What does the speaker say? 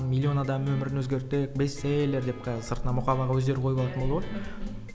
миллион адам өмірін өзгерттік бестселлер деп қазір сыртына мұқабаны өздері қойып алатын болды ғой